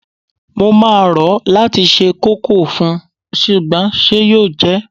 Mo máa rò ó láti se kókò fún, ṣùgbọ́n ṣe yóò jẹ́?